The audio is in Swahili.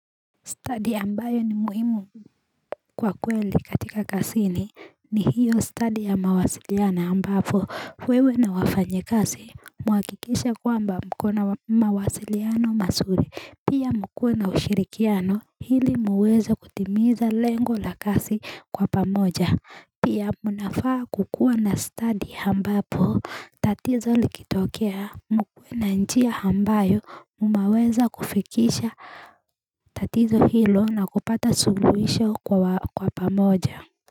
Study ambayo ni muhimu kwa kweli katika kasini ni hiyo study ya mawasiliano ambapo wewe na wafanye kasi muakikishe kwamba mkona mawasiliano masuri pia mkuwe na ushirikiano hili muweze kutimiza lengo la kasi kwa pamoja. Pia munafaa kukua na study hambapo tatizo likitokea mkuwe na njia hambayo umaweza kufikisha tatizo hilo na kupata solution kwa pamoja.